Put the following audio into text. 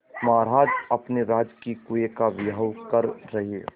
महाराज अपने राजकीय कुएं का विवाह कर रहे